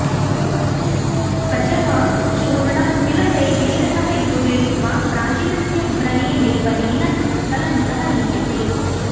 त्वचः चूर्णं तिलतैलेन सह योजयित्वा प्राचिनस्य व्रणे लेपनेन कलङ्कः लीयते